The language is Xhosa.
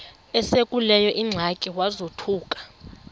esekuleyo ingxaki wazothuka